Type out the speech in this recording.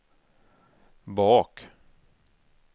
bak